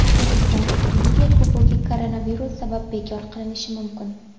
O‘zbekiston Liga Kubogi koronavirus sabab bekor qilinishi mumkin.